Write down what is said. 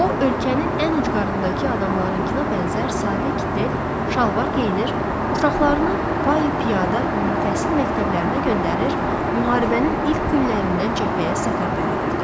O, ölkənin ən ucqarındakı adamlarınkına bənzər sadə kittel, şalvar geyinir, uşaqlarını piyada ümumi təhsil məktəblərinə göndərir, müharibənin ilk günlərindən cəbhəyə səfərbər edirdi.